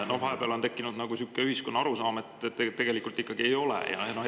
Vahepeal on tekkinud ühiskonnas niisugune arusaam, et tegelikult see ikkagi ei ole.